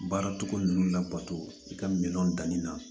Baara togo ninnu labato i ka miliyɔn danni na